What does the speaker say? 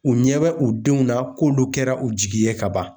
U ɲɛ bɛ u denw na k'olu kɛra u jigi ye ka ban.